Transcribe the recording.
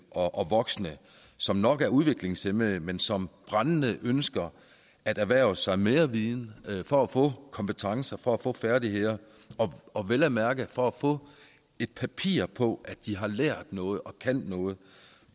og voksne som nok er udviklingshæmmede men som brændende ønsker at erhverve sig mere viden for at få kompetencer for at få færdigheder og vel at mærke for at få et papir på at de har lært noget og kan noget